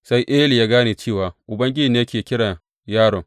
Sai Eli ya gane cewa Ubangiji ne ke kira yaron.